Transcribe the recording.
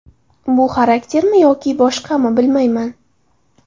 Bu xaraktermi yoki boshqami bilmayman.